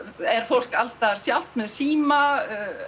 er fólk alls staðar sjálft með síma